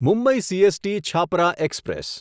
Mumbai CST Chhapra express